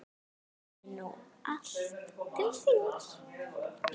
Leið nú allt til þings.